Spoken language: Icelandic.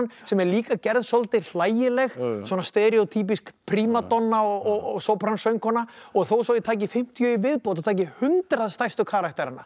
sem er líka gerð svolítið hlægileg svona prímadonna og sópransöngkona þó svo ég taki fimmtíu í viðbót og taki hundrað stærstu karakterana